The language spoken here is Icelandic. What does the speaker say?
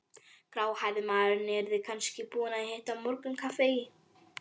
Gráhærði maðurinn yrði kannski búinn að hita morgunkaffið í